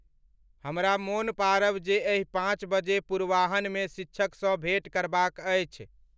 हमरा मोन पाड़व जे एहि पांच बजे पूर्वांहान मे शिक्षक स भेंट करबाक़ अछि